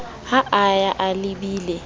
ha a ya a lebile